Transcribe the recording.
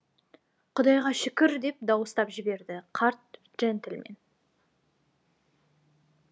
құдайға шүкір деп дауыстап жіберді қарт жентльмен